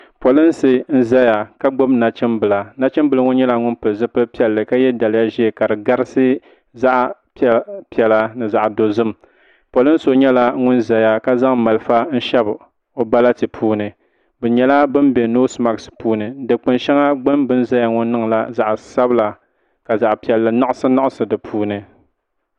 Polisi n zaya ka gbibi nachimbila nachimbila ŋo nyɛla ŋun pili zipili piɛlli ka ye daliya n zaya kadi garisi zaɣa piɛla ni zaɣa dozim polin so nyɛla ŋun zaŋ malifa n shɛbi o bɛlɛɛti puuni bɛ nyɛla ban be noosi maksi puuni gbini bɛ ni zaya ŋo niŋla zaɣa sabila ka zaɣa piɛlli naɣisi naɣisi di puuni.